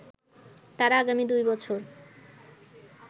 তারা আগামী দুই বছর